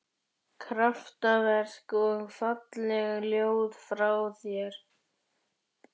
Kraftaverk og falleg ljóð frá þér